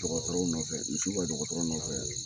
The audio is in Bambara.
Dɔkɔtɔrɔw nɔfɛ misiw ka dɔkɔtɔrɔ nɔfɛ